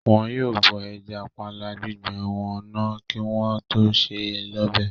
Wọn yóò bọ ẹja panla gbígbẹ wọn náà kí wọ́n tó sè é lọ́bẹ̀